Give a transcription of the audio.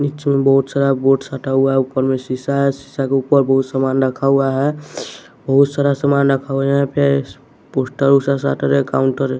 नीचे में बहुत सारा बोड साटा हुआ ऊपर में शीशा है शीशा के ऊपर बहुत समान रखा हुआ है बहुत सारा समान रखा हुआ है यहां पे पोस्टर ओस्टर साट रहें काउंटर --